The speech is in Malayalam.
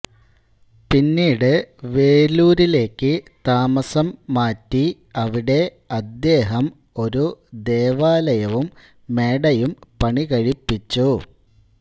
പിന്നീട് വേലൂരിലേയ്ക്ക് താമസം മാറ്റി അവിടെ അദ്ദേഹം ഒരു ദേവാലയവും മേടയും പണികഴിപ്പിച്ചു